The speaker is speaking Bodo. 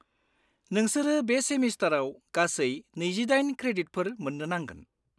-नोंसोरो बे सेमिस्टाराव गासै नैजिदाइन क्रेडिटफोर मोन्नो नांगोन।